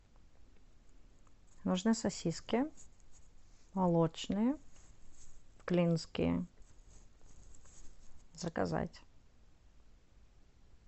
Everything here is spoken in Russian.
нужны сосиски молочные клинские заказать